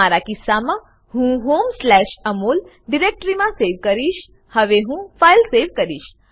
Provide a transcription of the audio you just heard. મારા કિસ્સા મા હું homeઅમોલ ડિરેક્ટરીમા સેવ કરીશહવે હું ફાઈલ સેવ કરીશ